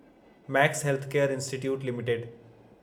max healthcare institute limited